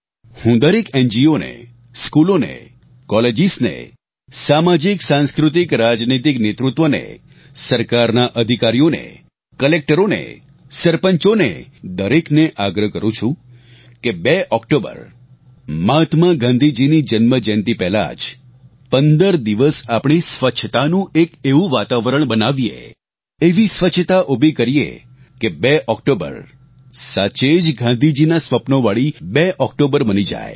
હું દરેક એનજીઓને સ્કૂલોને કોલેજીસ ને સામાજિક સાંસ્કૃતિક રાજનીતિક નેતૃત્વને સરકારના અધિકારીઓને કલેક્ટરોને સરપંચોને દરેકને આગ્રહ કરું છું કે 2 ઓક્ટોબર મહાત્મા ગાંધીજીની જન્મજયંતી પહેલા જ 15 દિવસ આપણે સ્વચ્છતાનું એક એવું વાતાવરણ બનાવીએ એવી સ્વચ્છતા ઉભી કરીએ કે 2 ઓક્ટોબર સાચે જ ગાંધીજીના સ્વપ્નોવાળી 2 ઓક્ટોબર બની જાય